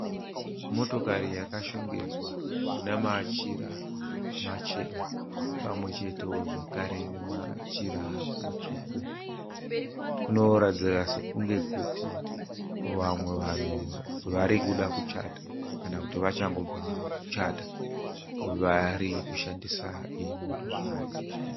Motokari yakashongedzwa namachira machena pamwechetewo zvakare namachira matsvuku. Kunoratidzira sekunge kuti vamwe vanhu vari kuda kuchata kana kuti vachangobva kuchata vari kushandisa iyi motokari.